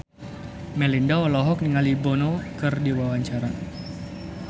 Melinda olohok ningali Bono keur diwawancara